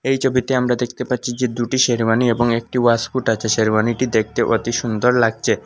এই ছবিতে আমরা দেখতে পাচ্ছি যে দুটি শেরওয়ানি এবং একটি ওয়াশকোট আছে শেরওয়ানিটি দেখতে অতি সুন্দর লাগছে।